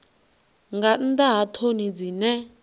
nga nnḓa ha ṱhoni dzine